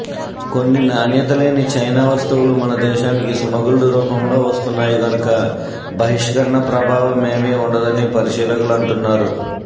కొన్ని నాణ్యతలేని చైనా వస్తువులు మన దేశానికి స్మగుల్డు రూపంలో వస్తున్నాయి గనుక బహిష్కరణ ప్రభావమేమీ ఉండదని పరిశీలకులు అంటున్నారు